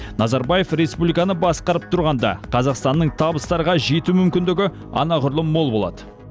назарбаев республиканы басқарып тұрғанда қазақстанның табыстарға жету мүмкіндігі анағұрлым мол болады